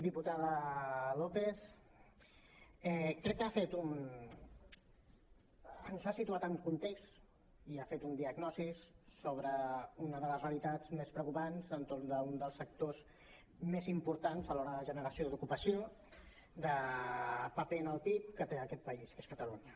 diputada lópez crec que ens ha situat en un context i ha fet una diagnosi sobre una de les realitats més preocupants entorn d’un dels sectors més importants a l’hora de generació d’ocupació de paper en el pib que té aquest país que és catalunya